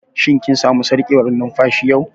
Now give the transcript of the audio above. Shin kin samu sarƙewar numfashi yau?